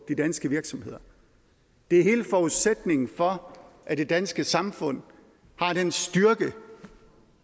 de danske virksomheder det er hele forudsætningen for at det danske samfund har den styrke